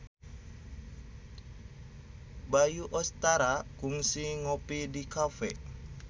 Bayu Octara kungsi ngopi di cafe